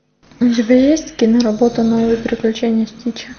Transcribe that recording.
у тебя есть киноработа новые приключения стича